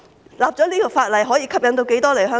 訂立這項法例後可以吸引多少醫生來港？